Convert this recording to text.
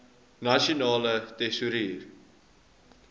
nasionale tesourie